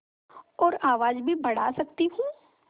और आवाज़ भी बढ़ा सकती हूँ